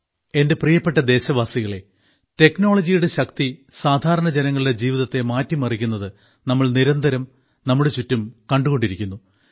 എന്റെ പ്രിയപ്പെട്ട ദേശവാസികളേ ടെക്നോളജിയുടെ ശക്തി സാധാരണ ജനങ്ങളുടെ ജീവിതത്തെ മാറ്റി മറിയ്ക്കുന്നത് നമ്മൾ നിരന്തരം നമ്മുടെ ചുറ്റും കണ്ടുകൊണ്ടിരിക്കുന്നു